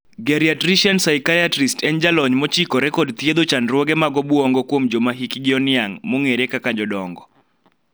Geriatrician psychiatrist' en jalony mochikore kod thiedho chandruoge mag obuongo kuom joma hikgi oniang' (jodongo).